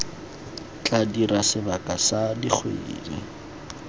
tla dira sebaka sa dikgwedi